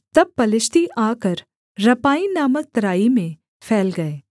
तब पलिश्ती आकर रपाईम नामक तराई में फैल गए